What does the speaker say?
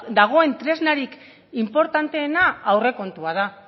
dagoen tresnarik inportanteena aurrekontua da